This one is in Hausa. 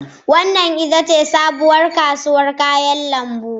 Wannan ita ce sabuwar kasuwar kayan lambu.